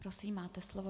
Prosím, máte slovo.